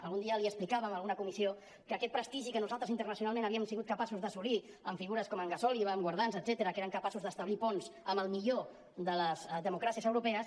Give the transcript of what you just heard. algun dia li explicàvem en alguna comissió que aquest prestigi que nosaltres internacionalment havíem sigut capaços d’assolir amb figures com en gasòliba en guardans etcètera que eren capaços d’establir ponts amb el millor de les democràcies europees